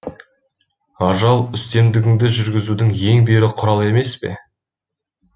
ажал үстемдігіңді жүргізудің ең берік құралы емес пе